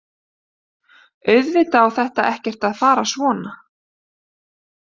Auðvitað á þetta ekkert að fara svona.